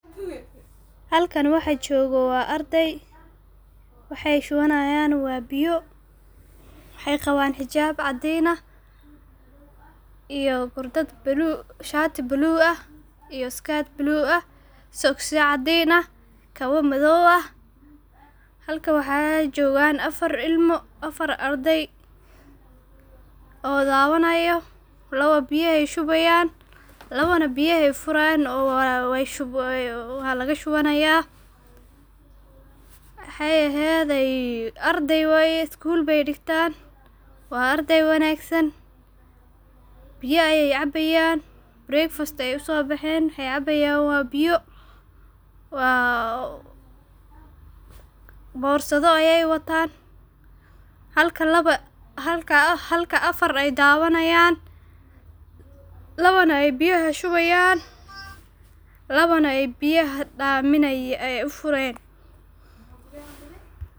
Halkani waxa jogoo waa ardey ,waxey shuwanayan waa biyo. Waxay qawan xijab cadin ah iyo shaati balug ah iyo iskad balug ah ,soksiyo cadin ah ,kabaa madow ah .Halka waxa jogan afraar ilmo, afaar ardey oo labanayo ,laba biyey shubayan labana biyahay furayaan waalaga shubanaya. Waxay ehede arday weye iskuul bey digtan ,waa arday wanagsan biyaa ayey cabayan breakfast ayey uso bahen waxey cabayan waa biyo waa borsadho ayey watan ,halka afar ay dawanayan labana ay biyaha shubayan labana ay biyaha u furayan.